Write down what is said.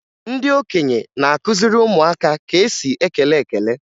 Ndị okenye na-akụziri ụmụaka ka e si ekele ekele